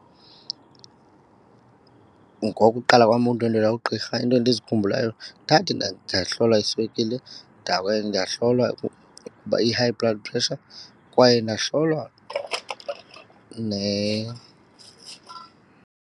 Ngokuqala kwam ukundwendwela ugqirha into endizikhumbulayo ndathi ndahlolwa iswekile, ndahlolwa uba i-high blood pressure, kwaye ndahlolwa .